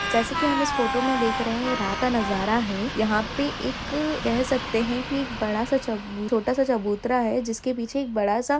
जैसे की हम इस फोटो में देख रहे है यह रात का नजारा है यहा पे एक कह सकते है की एक बड़ा-सा चबु- छोटा-सा चबूतरा है जिसके पीछे एक बड़ा-सा --